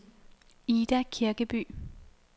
Ida Kirkeby